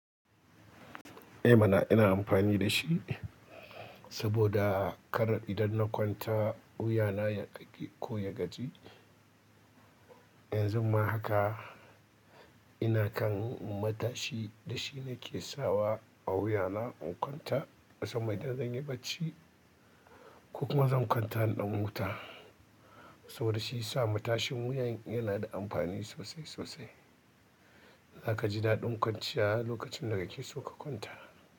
I mana ina amfani da shi saboda kar idan na kwanta wuyana yaƙaƙe ko ya gaji. Yanzu ma haka ina kan matashi da shi ne ke sawa a wuyana in kwanta. Musamman idan zan yi barci ko kuma zan kwanta na ɗan huta saboda shi ya sa matashin wuya yana da amfani sosai sosai. Za ka ji daɗin kwanciya lokacin da ka ke so ka kwanta.